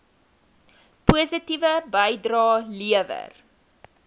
positiewe bydrae lewer